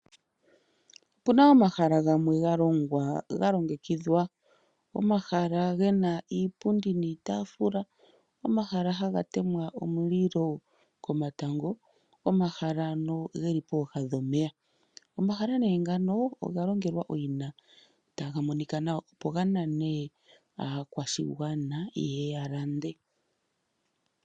Opuna omahala gamwe ga longwa ga longekidhwa. Omahala gena iipundi niitaafula, omahala haga temwa omulilo komatango. Omahala ano geli pooha dhomeya. Omahala nee ngano oga longelwa owina taga monika nawa, opo ga nane aakwashigwana yeye ya lande.